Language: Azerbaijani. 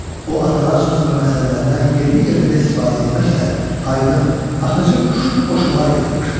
O, atalar sözü və məsəllərdən yerli-yerində istifadə etməklə aydın, axıcı, şux qoşmalar yaratmışdır.